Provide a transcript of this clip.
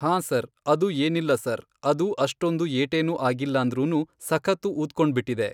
ಹಾಂ ಸರ್ ಅದು ಏನಿಲ್ಲ ಸರ್ ಅದು ಅಷ್ಟೊಂದು ಏಟೇನೂ ಆಗಿಲ್ಲಂದ್ರೂನು ಸಖತ್ತು ಊದ್ಕೊಂಡ್ಬಿಟ್ಟಿದೆ